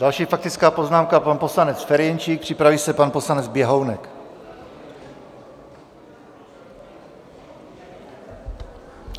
Další faktická poznámka - pan poslanec Ferjenčík, připraví se pan poslanec Běhounek.